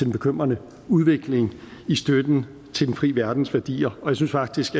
bekymrende udvikling i støtten til den frie verdens værdier jeg synes faktisk